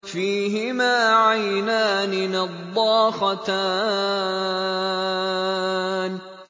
فِيهِمَا عَيْنَانِ نَضَّاخَتَانِ